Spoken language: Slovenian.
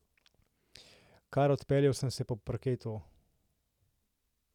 Kar odpeljal sem se po parketu.